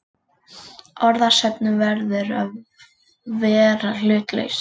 Orðasöfnunin verður að vera hlutlaus.